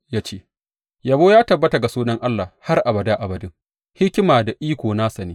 Ya ce, Yabo ya tabbata ga sunan Allah har abada abadin; hikima da iko nasa ne.